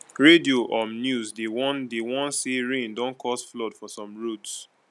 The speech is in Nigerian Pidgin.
radio um news dey warn dey warn say rain don cause flood for some roads